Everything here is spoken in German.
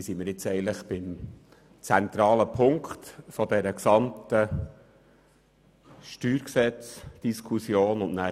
Hier sind wir beim zentralen Punkt der gesamten Diskussion um das StG und das EP.